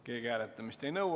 Keegi hääletamist ei nõua.